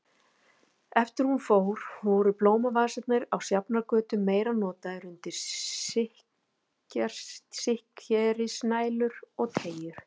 Eftir að hún fór voru blómavasarnir á Sjafnargötu meira notaðir undir sikkrisnælur og teygjur.